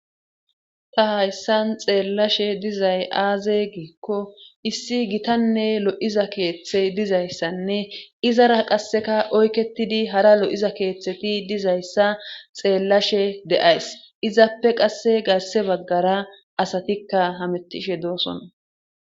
ta hayssan xeellashe dizay aaze giikko issi gitanne lo7iza keeththey dizayssanne izara qasseka oyketidi hara lo7iza keeththeti dizayssa xeellashe de7ays izappe qasse garse baggara asatikka hamettishe doosonna